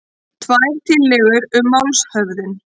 Tvær tillögur um málshöfðun